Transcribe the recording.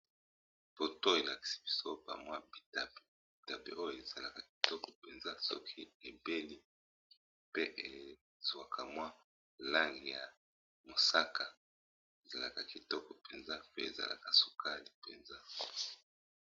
poto elakisi bisopa mwa bibidape oyo ezalaka kitoko mpenza soki ebeli pe ezwaka mwa lange ya mosaka ezalaka kitoko mpenza pe ezalaka sukale mpenza